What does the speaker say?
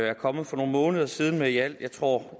er kommet for nogle måneder siden med i alt jeg tror